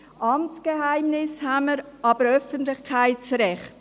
Wir haben das Amtsgeheimnis, aber auch das Öffentlichkeitsrecht.